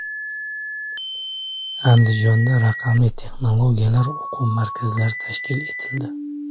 Andijonda raqamli texnologiyalar o‘quv markazlari tashkil etildi.